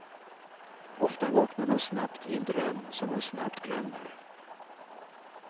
Ofta vaknar man snabbt i en dröm som man snabbt glömmer.